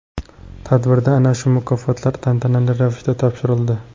Tadbirda ana shu mukofotlar tantanali ravishda topshirildi.